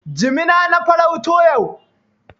Jimina na farauto yau.